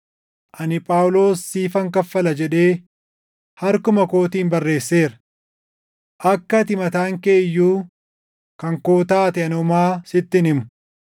Ani Phaawulos siifan kaffala jedhee harkuma kootiin barreesseera. Akka ati mataan kee iyyuu kan koo taate ani homaa sitti hin himu.